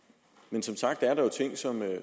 ud